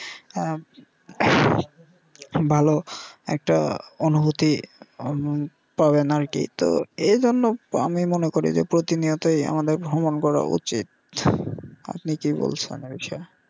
হ্যা ভালো একটা অনুভূতি পাবেন আর কি তো এই জন্য আমি মনে করি যে প্রতিনিয়তই আমাদের ভ্রমণ করা উচিত আপনি কি বলছেন এই বিষয়ে?